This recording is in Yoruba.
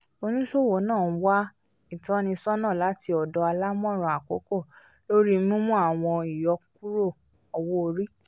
oníṣòwò náà wà ìtọ́nisọ́nà láti ọdọ àlámọran àkókò lórí mímú àwọn ìyọkúrò òwò-orí